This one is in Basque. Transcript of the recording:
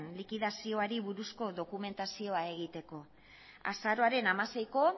likidazioari buruzko dokumentazioa egiteko azaroaren hamaseiko